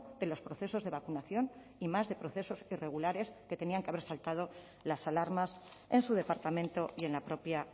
de los procesos de vacunación más de procesos irregulares que tenían que haber saltado las alarmas en su departamento y en la propia